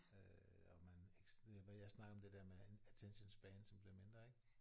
Øh og man ikke hvad jeg snakkede om det der med attention span som bliver mindre ik